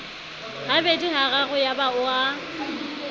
habedi hararo yaba o a